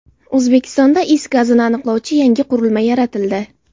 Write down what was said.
O‘zbekistonda is gazini aniqlovchi yangi qurilma yaratildi.